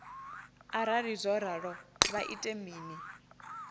arali zwo ralo vha ita mini